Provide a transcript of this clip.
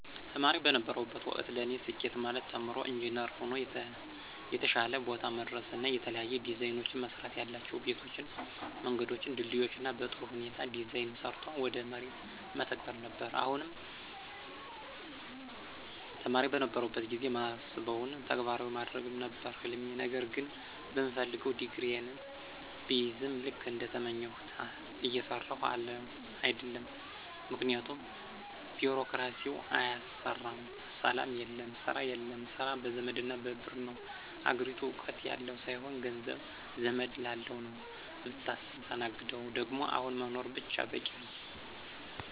ተማሪ በነበርሁበት ወቅት ለኔ ስኬት ማለት ተምሮ ኢንጅነር ሆኖ የተሻለ ቦታ መድረስና የተለያዩ ዲዛይኖችን መስራትያላቸው ቤቶችን፣ መንገዶችን፣ ድልድዮችን በጥሩ ሁኔታ ዲዛይን ሰርቶ ወደ መሬት መተግበር ነበር፣ አሁንም ተማሪ በነበርሁበት ጊዜ ማስበውን ተግባራዊ ማድረግ ነበር ህልሜ ነገር ግን በምፈልገው ዲግሪየን ብይዝም ልክ እንደተመኘሁት እየሰራሁ አደለም ምክንያቱም ቢሮክራሲው አያሰራም፣ ሰላም የለም፣ ስራ የለም፣ ስራ በዘመድና በብር ነው፣ አገሪቱ እውቀት ያለው ሳይሆን ገንዘብ፣ ዘመድ ላለው ነው ምታስተናግደው ደግሞ አሁን መኖር ብቻ በቂ ነው።